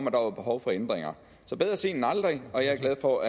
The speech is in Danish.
at der var behov for ændringer så bedre sent end aldrig og jeg er glad for